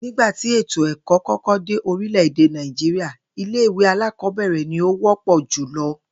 Nígbà tí ètò è̩kó̩ kó̩kó̩ dé orílè̩-èdè Nàìjíríà, ilé ìwé alákò̩ó̩bè̩rè̩ ni ó wó̩pò̩ jùlo̩